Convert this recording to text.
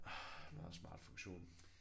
Det er en meget smart funktion